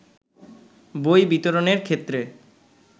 বই বিতরণের ক্ষেত্রে